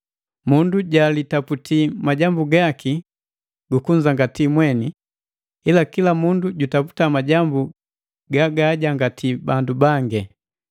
Mundu jalitaputi majambu gaki gu kunzangati mweni, ila kila mundu jutaputa majambu gagaajangatii bandu bangi.